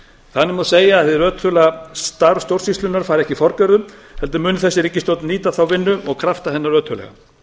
þannig má segja að hið ötula starf stjórnsýslunnar fari ekki forgörðum heldur mun þessi ríkisstjórn nýta þá vinnu og krafta hennar ötullega